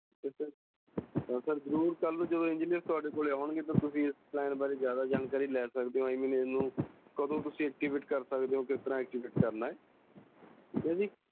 Sir ਜ਼ਰੂਰ ਜਦੋ ਕਲ ਨੂੰ engineer ਥੋਡੇ ਕੋਲ ਆਉਣਗੇ ਤਾ ਤੁਸੀਂ ਇਸ plan ਬਾਰੇ ਜਿਆਦਾ ਜਾਣਕਾਰੀ ਲੈ ਸਕਦੇ ਹੋ I mean ਕਦੋ ਤੁਸੀਂ activate ਕਰ ਸਕਦੇ ਓ ਕਿਸ ਤਰ੍ਹਾਂ activate ਕਰਨਾ। ਠੀਕ ਆ ਜੀ